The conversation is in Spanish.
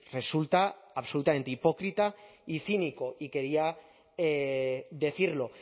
resulta absolutamente hipócrita y cínico y quería decirlo